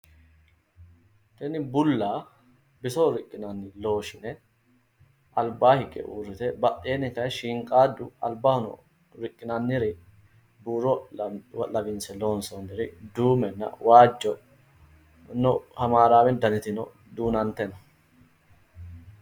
Tini bulla bisoho riqqinanni looshine albaa higge uurrite badheenni daye shiinqaaddu albahono riqqinanniri buuro lawinse loonsoonniri duumenna waajjo no hamaaraawe danitino duunante no